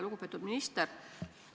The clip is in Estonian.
Lugupeetud minister!